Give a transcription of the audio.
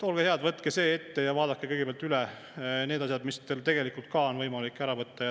Olge head, võtke see ette ja vaadake kõigepealt üle need asjad, mis tegelikult ka on võimalik ära võtta.